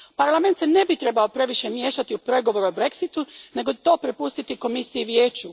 Parlament se ne bi trebao previše miješati u pregovore o Brexitu, nego to prepustiti Komisiji i Vijeću.